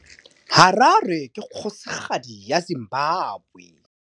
Harare ke kgosigadi ya Zimbabwe.